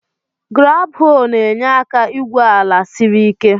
Graab-hoo na-enye aka igwu elu ala siri ike.